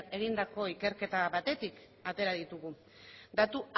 egindako ikerketa batetik atera ditugu datu